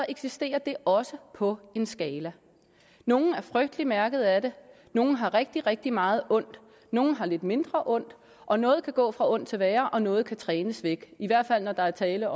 eksisterer det også på en skala nogle er frygtelig mærkede af det nogle har rigtig rigtig meget ondt nogle har lidt mindre ondt og noget kan gå fra ondt til værre og noget kan trænes væk i hvert fald når der er tale